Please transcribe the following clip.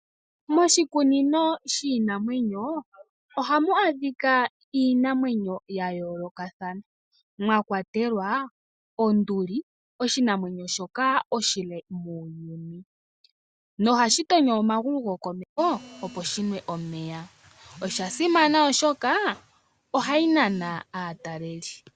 Moshikunino shiinamwenyo ohamu adhika iinamwenyo ya yoolokathana mwa kwatelwa onduli, oshinamwenyo shoka oshile muuyuni no hashi tonyo omagulu gokomeho opo shi nwe omeya. Osha simana oshoka ohayi nana aataleli.